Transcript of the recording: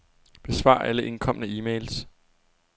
Besvar alle indkomne e-mails.